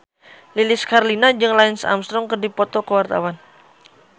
Lilis Karlina jeung Lance Armstrong keur dipoto ku wartawan